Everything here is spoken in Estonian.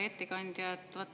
Hea ettekandja!